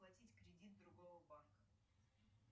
оплатить кредит другого банка